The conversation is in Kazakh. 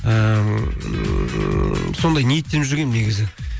ыыы сондай ниеттеніп жүргенмін негізі